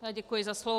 Děkuji za slovo.